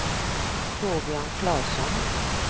Torbjörn Klasson